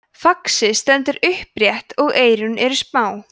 faxið stendur upprétt og eyrun eru smá